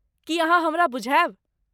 की अहाँ हमरा बुझायब?